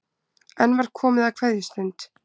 Enn var komið að kveðjustund.